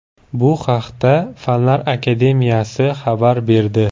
Bu haqda Fanlar akademiyasi xabar berdi .